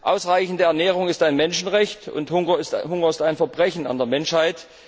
Ausreichende Ernährung ist ein Menschenrecht, und Hunger ist ein Verbrechen an der Menschheit.